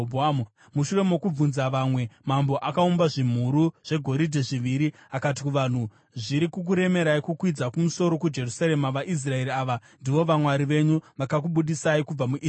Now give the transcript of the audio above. Mushure mokubvunza vamwe, mambo akaumba zvimhuru zvegoridhe zviviri. Akati kuvanhu, “Zviri kukuremerai kukwidza kumusoro kuJerusarema. VaIsraeri, ava ndivo vamwari venyu vakakubudisai kubva muIjipiti.”